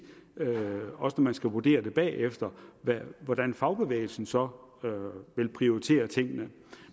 også når man skal vurdere det bagefter hvordan fagbevægelsen så vil prioritere tingene